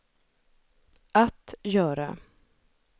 att göra